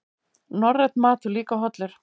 Norrænn matur líka hollur